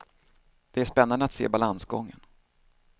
Det är spännande att se balansgången.